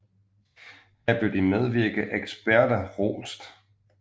Her blev de medvirkende eksperter rost